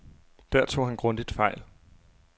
Der tog han grundigt fejl.